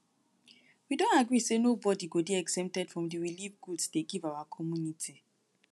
we don agree say nobody go dey exempted from the relieve goods dey give our community